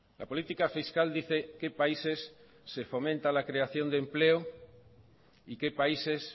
la política fiscal dice qué países se fomenta la creación de empleo y qué países